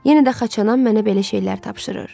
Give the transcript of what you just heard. Yenə də xaçanam mənə belə şeylər tapşırır.